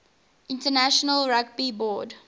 international rugby board